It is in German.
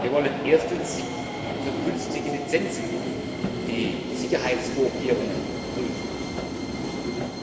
Wir wollen erstens für künftige Lizenzen die Sicherheitsvorkehrungen prüfen,